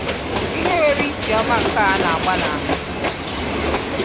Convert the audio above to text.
ihe nwere isi oma nke a na agba n'ahu.